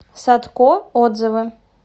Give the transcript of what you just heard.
садко отзывы